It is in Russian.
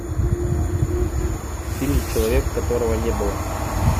фильм человек которого не было